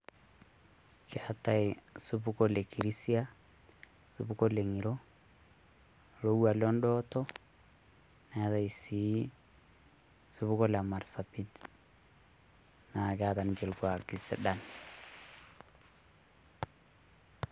Keetay supuko le kirisia, supuko le ng`iro, lowuan lo ndooto neetay sii supuko le marsabit, naa keeta ninche lkuaki sidan.